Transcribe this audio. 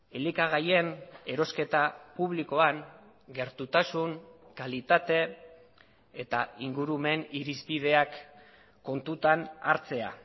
elikagaien erosketa publikoan gertutasun kalitate eta ingurumen irizpideak kontutan hartzea